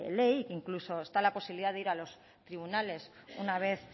ley incluso está la posibilidad de ir a los tribunales una vez